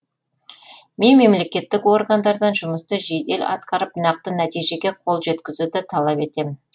мен мемлекеттік органдардан жұмысты жедел атқарып нақты нәтижеге қол жеткізуді талап етемін